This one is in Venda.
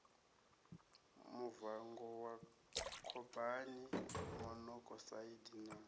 muvango wa khaboni monokosaidi na